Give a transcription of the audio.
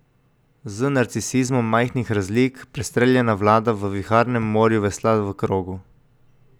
Z narcisizmom majhnih razlik prestreljena vlada v viharnem morju vesla v krogu.